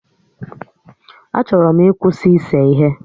A chọrọ m ịkwụsị ise ihe